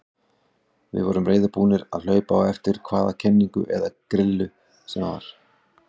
Við vorum reiðubúnir að hlaupa á eftir hvaða kenningu eða grillu sem var.